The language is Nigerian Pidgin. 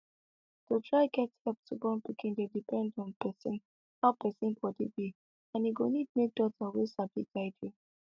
to try get help to born pikin dey depend on person how person body be and e go need make doctor wey sabi guide you